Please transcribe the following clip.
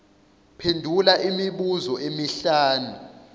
phendula imibuzo emihlanu